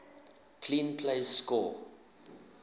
clean plays score